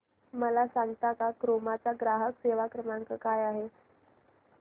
मला सांगता का क्रोमा चा ग्राहक सेवा क्रमांक काय आहे